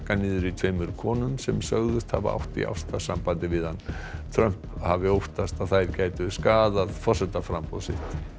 niður í tveimur konum sem sögðust hafa átt í ástarsambandi við hann Trump hafi óttast að þær gætu skaðað forsetaframboð sitt